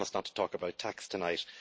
I promise not to talk about tax tonight!